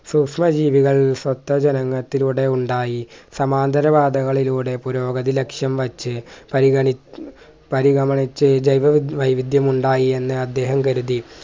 സൂക്ഷ്‌മ ജീവികൾ സ്വത്ത ജനനത്തിലൂടെ ഉണ്ടായി സമാന്തര വാദങ്ങളിലൂടെ പുരോഗതി ലക്ഷ്യം വെച്ച് പരിഗണി പരിഗമിച്ച് ജൈവ വൈവിദ്യം ഉണ്ടായെന്ന് അദ്ദേഹം കരുതി